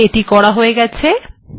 তাহলে এটি করা হয়ে গেছে